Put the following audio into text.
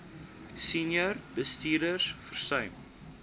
senior bestuurders versuim